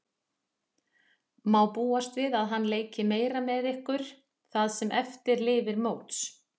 Má búast við að hann leiki meira með ykkur það sem eftir lifir móts?